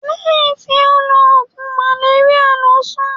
Lehin ti o lo ogun maleria lo sun.